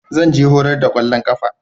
Zan je horar da kwallon kafa.